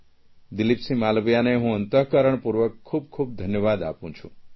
દિલીપસિંહ માલવિયાને હું અંતઃકરણપૂર્વક ખૂબ ખૂબ ધન્યવાદ આપું છું